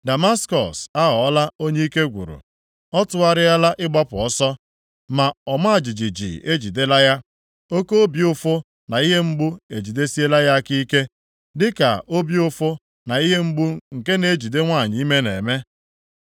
Damaskọs aghọọla onye ike gwụrụ. Ọ tụgharịala ịgbapụ ọsọ, ma ọma jijiji ejidela ya. Oke obi ụfụ na ihe mgbu ejidesiela ya aka ike, dịka obi ụfụ na ihe mgbu nke na-ejide nwanyị ime na-eme.